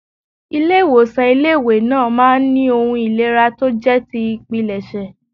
Ilé ìwòsàn ilé ìwé náà máa ń ní ohun ìlera tó jẹ́ ti ìpilẹ̀ṣẹ̀.